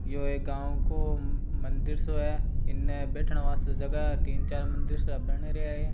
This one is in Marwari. यो एक गांव को मंदिर शो है एने बैठने वास्ते जगह है तीन-चार मंदिर सब बन रहे हैं।